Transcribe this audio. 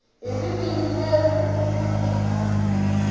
hi ririmi leri u ri